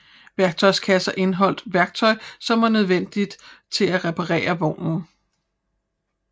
Værktøjskasser indeholdt værktøj som var nødvendigt til at reparere vognen